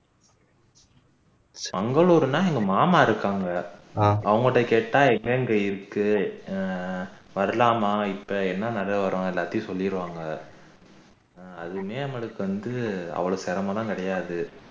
மங்களூர்னா எங்க மாம்மா இருக்காங்க அவங்க கிட்ட கேட்டா இருக்கு வரலாமா இப்போ என்ன நிலவரம் எல்லாத்தையும் சொல்லிடுவாங்க அதுலயும் நமக்கு வந்து அவ்ளோ சிரமம்லாம் கிடையாது